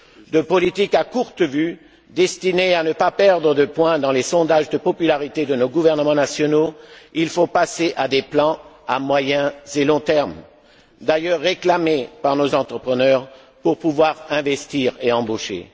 De politiques à courte vue, destinées à ne pas perdre de points dans les sondages de popularité de nos gouvernements nationaux, il faut passer à des plans à moyen et long terme, d'ailleurs réclamés par nos entrepreneurs pour pouvoir investir et embaucher.